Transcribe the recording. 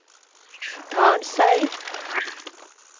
Tansøy